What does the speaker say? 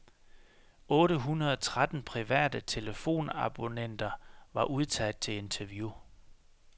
Otte hundrede tretten private telefonabonnenter var udtaget til interview.